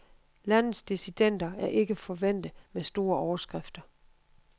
Landets dissidenter er ikke forvænte med store overskrifter.